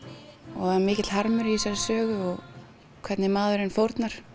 og það er mikill harmur í þessari sögunni og hvernig maðurinn fórnar